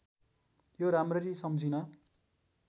यो राम्ररी सम्झिन